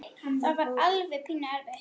Það var alveg pínu erfitt.